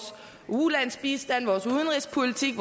ulandsbistand vores udenrigspolitik